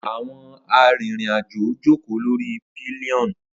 Awọn arinrin-ajo joko lori pillion.